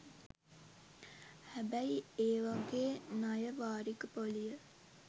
හැබැයි ඒවාගේ ණය වාරික පොලිය